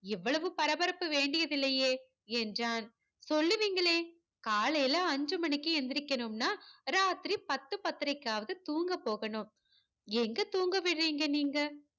இவ்வளவு பரபரப்பு வேண்டியதில்லையே என்றான் சொல்லுவீங்களே காலையிலே அஞ்சு மணிக்கு எந்திரிக்கனும்னா ராத்திரி பத்து பத்தரைக்காவது தூங்க போகணும் எங்க தூங்க விடுரிங்க நீங்க